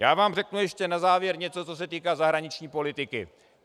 Já vám řeknu ještě na závěr něco, co se týká zahraniční politiky.